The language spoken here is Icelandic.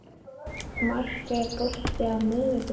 Mark, er bolti á miðvikudaginn?